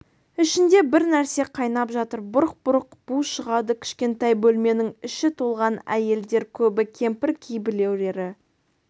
ішінде бір нәрсе қайнап жатыр бұрқ-бұрқ бу шығады кішкентай бөлменің іші толған әйелдер көбі кемпір кейбіреулері